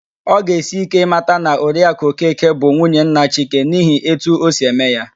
Ọ ga-esi íké ịmata na Oriakụ Okeke bụ nwunye nna Chike n'ihi etu o si eme ya